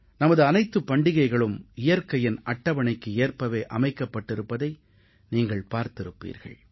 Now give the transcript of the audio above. நமது அனைத்துப் பண்டிகைகளும் இயற்கையின் அட்டவணைக்கு ஏற்பவே அமைக்கப்பட்டிருப்பதை நீங்கள் பார்த்திருப்பீர்கள்